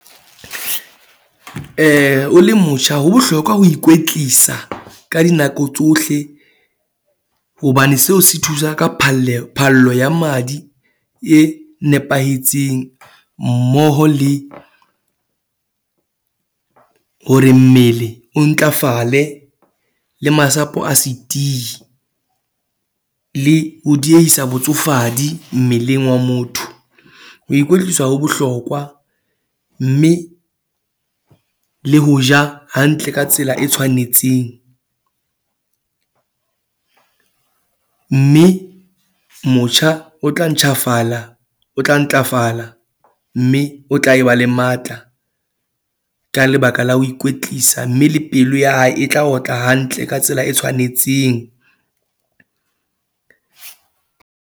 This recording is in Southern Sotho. O le motjha, ho bohlokwa ho ikwetlisa ka dinako tsohle hobane seo se thusa ka phalleho, phallo ya madi e nepahetseng mmoho le hore mmele o ntlafale le masapo a se tiyi le ho diyeisa botsofadi mmeleng wa motho. Ho ikwetlisa ho bohlokwa mme le ho ja hantle ka tsela e tshwanetseng. Mme motjha o tla ntjhafala, o tla ntlafala mme o tla e ba le matla ka lebaka la ho ikwetlisa, mme le pelo ya hae e tla otla hantle ka tsela e tshwanetseng.